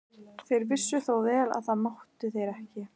Þeir vissu þó vel að þetta máttu þeir ekki.